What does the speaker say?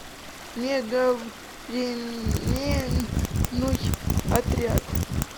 мегавременной отряд